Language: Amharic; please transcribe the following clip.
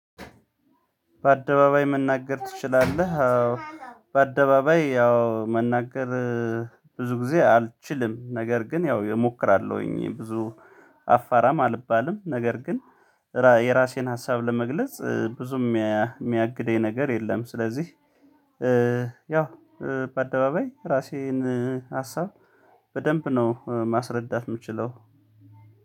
በአደባባይ መናገር ትችላለህ አዎ በአደባባይ ያው መናገር ብዙ ጊዜ አልችልም ነገር ግን ያው እሞክራለሁኝ ብዙ አፋራም አልባልም ነገር ግን የራሴን ሀሳብ ለመግለጽ ብዙም የሚያግደኝ ነገር የለም ስለዚህ ያው በአደባባይ ራሴን ሀሳብ በደንብ ነው ማስረዳት የምችለው።